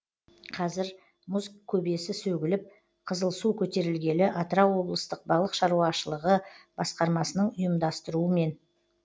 қазір мұз көбесі сөгіліп қызылсу көтерілгелі атырау облыстық балық шаруашылығы басқармасының ұйымдастыруымен